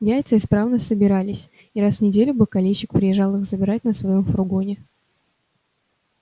яйца исправно собирались и раз в неделю бакалейщик приезжал их забирать на своём фургоне